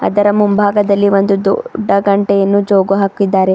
ಅದರ ಮುಂಭಾಗದಲ್ಲಿ ಒಂದು ದೊಡ್ಡ ಗಂಟೆಯನ್ನು ಜೋಗು ಹಾಕಿದ್ದಾರೆ.